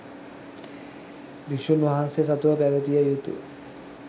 භික්‍ෂූන් වහන්සේ සතුව, පැවැතිය යුතු